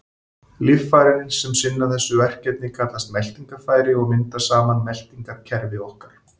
Líffærin sem sinna þessu verkefni kallast meltingarfæri og mynda saman meltingarkerfi okkar.